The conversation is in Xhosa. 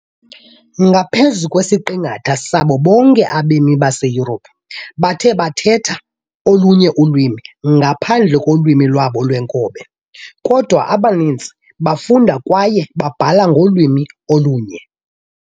Ngaphezu kwesiqingatha sabo bonke abemi baseYurophu bathi bathetha olunye ulwimi ngaphandle kolwimi lwabo lweenkobe, kodwa abaninzi bafunda kwaye babhale ngolwimi olunye.